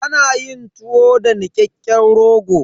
Ana yin tuwo da nikakken rogo.